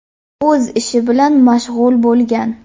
o‘z ishi bilan mashg‘ul bo‘lgan.